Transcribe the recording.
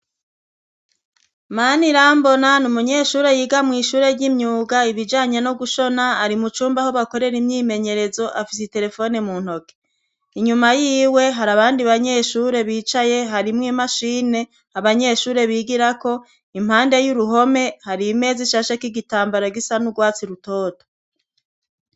Mana irambona ni umunyeshure yiga mw'ishure ry'imyuga ibijanya no gushona ari mu cumba aho bakorere imyimenyerezo afise i telefone mu ntoke inyuma yiwe hari abandi banyeshure bicaye harimwo imashine abanyeshure bigirako impande y'uruhome hari imezi isashek'igitambara gisanuwa watsi rutoto.